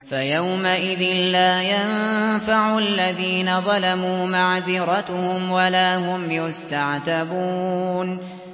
فَيَوْمَئِذٍ لَّا يَنفَعُ الَّذِينَ ظَلَمُوا مَعْذِرَتُهُمْ وَلَا هُمْ يُسْتَعْتَبُونَ